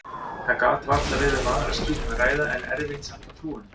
Það gat varla verið um aðra skýringu að ræða, en erfitt samt að trúa henni.